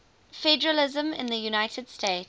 federalism in the united states